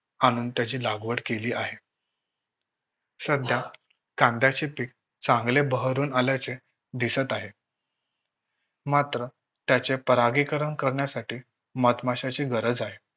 त्याची लागवड केली आहे. सध्या कांद्याचे पीक चांगले बहरून आल्याचे दिसत आहे मात्र त्याचे परागीकरण करण्यासाठी मधमाशांची गरज आहे.